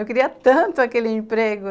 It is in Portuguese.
Eu queria tanto aquele emprego.